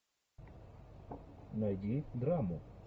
найди драму